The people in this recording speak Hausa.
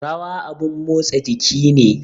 Rawa abun motsa jiki ne